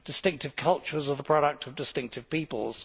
distinctive cultures are the product of distinctive peoples.